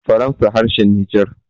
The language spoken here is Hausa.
faransa harshen niger